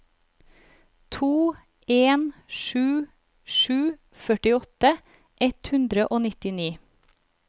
to en sju sju førtiåtte ett hundre og nittini